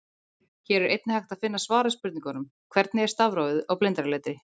Hér er einnig hægt að finna svar við spurningunum: Hvernig er stafrófið á blindraletri?